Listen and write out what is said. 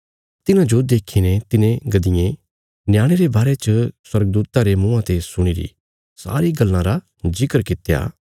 तिन्हाजो देखीने तिन्हे गद्दिएं न्याणे रे बारे च स्वर्गदूतां रे मुँआं ते सुणिरी सारी गल्लां रा जिकर कित्या